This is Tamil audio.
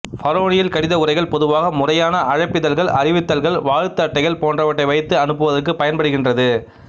பரோனியல் கடித உறைகள் பொதுவாக முறையான அழைப்பிதழ்கள் அறிவித்தல்கள் வாழ்த்து அட்டைகள் போன்றவற்றை வைத்து அனுப்புவதற்குப் பயன்படுகின்றது